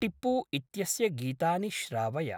टिप्पू इत्यस्य गीतानि श्रावय।